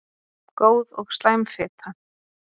Góð og slæm fita